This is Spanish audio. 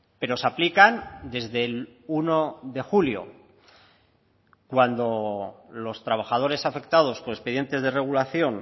pero se aplican desde el uno de julio cuando los trabajadores afectados por expedientes de regulación